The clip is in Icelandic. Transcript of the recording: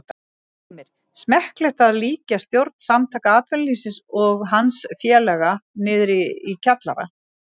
Heimir: Smekklegt að líkja stjórn Samtaka atvinnulífsins og hans félaga niðri í kjallara?